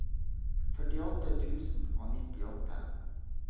førtiåtte tusen og nittiåtte